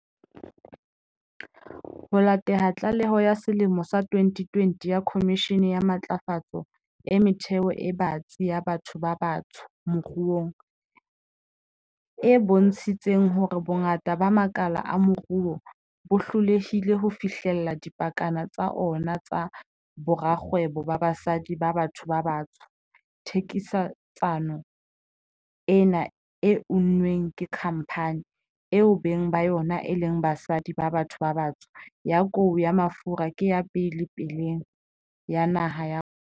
Ho latela tlaleho ya selemo sa 2020 ya Khomishene ya Matlafatso e Metheo e Batsi ya Batho ba Batsho Moruong, e bontshitseng hore bongata ba makala a moruo bo hlolehile ho fihlella dipakana tsa ona tsa borakgwebo ba basadi ba batho ba batsho, thekisetsano ena e unnweng ke khampani, eo beng ba yona e leng basadi ba batho ba batsho, ya kou ya mafura ke ya pele paleng ya naha ya rona.